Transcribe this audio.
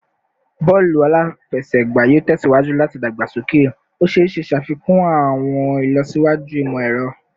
Bọọlu afẹsẹgba yoo tẹsiwaju lati dagbasoke, o ṣee ṣe ṣafikun awọn ilọsiwaju imọ-ẹrọ